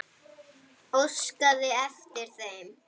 Óskaði eftir þeim?